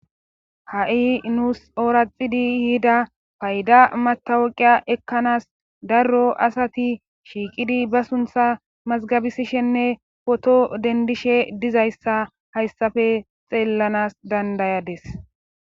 ha'i nuusi ooraxidi yida payda matawoqiya ekkanas darro asati shiiqidi ba suntha mazgabisishenne poto dendishe dizayssa hayssafe xeellanas dandayades